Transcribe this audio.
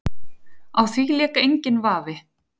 Á því lék enginn vafi.